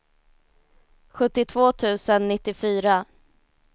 sjuttiotvå tusen nittiofyra